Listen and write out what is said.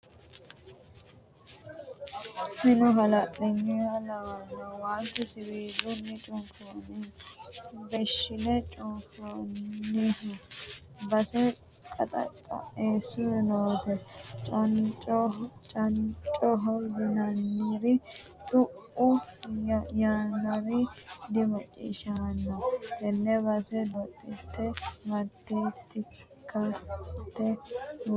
Minu halanyuha lawano waalchu siwiilu cufaninni beeshshine cunfoniho base qaxa qaesu noote cancoho yinanniri xu"u yaanori dimacciishshamano tene base doodhite martetikka mite uurrinsha loosu base fantinohu hakko.